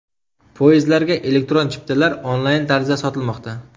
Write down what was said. Poyezdlarga elektron chiptalar onlayn tarzda sotilmoqda.